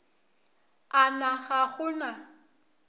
a na ga go na